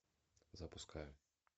запускай